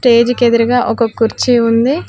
Stage కి ఎదురుగా ఒక కుర్చీ ఉంది.